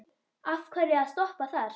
Af hverju að stoppa þar?